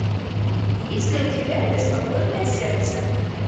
есть ли у тебя беспокойное сердце